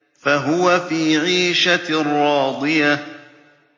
فَهُوَ فِي عِيشَةٍ رَّاضِيَةٍ